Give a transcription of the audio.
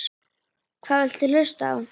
Hvað viltu hlusta á?